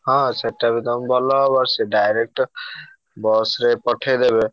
ହଁ ସେଟା ବି ତମୁକୁ ଭଲ ହବ। ସେ direct bus ରେ ପଠେଇଦେବେ।